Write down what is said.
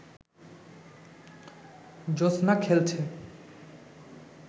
জ্যোসনা খেলছে